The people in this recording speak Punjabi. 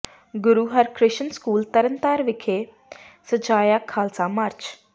ਗੁਰੂ ਹਰਿਕ੍ਰਿਸ਼ਨ ਸਕੂਲ ਤਰਨ ਤਾਰਨ ਵਿਖੇ ਸਜਾਇਆ ਖਾਲਸਾ ਮਾਰਚ